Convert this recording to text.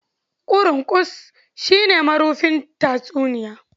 "Ƙurunƙus" shi ne marufin tatsuniya.